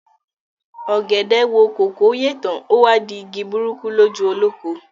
Ọ̀gẹ̀dẹ̀ wo kòkó yè tán, o wá di igi burúkú lójú olóko.